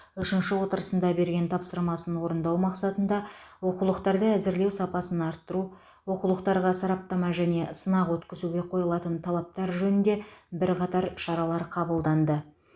үшінші отырысында берген тапсырмасын орындау мақсатында оқулықтарды әзірлеу сапасын арттыру оқулықтарға сараптама және сынақ өткізуге қойылатын талаптар жөнінде бірқатар шаралар қабылданды